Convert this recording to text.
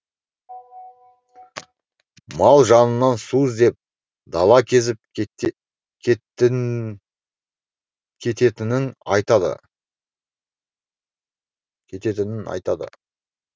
мал жанның су іздеп дала кезіп кететінін айтады кететінін айтады